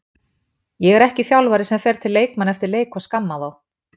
Ég er ekki þjálfari sem fer til leikmanna eftir leik og skamma þá.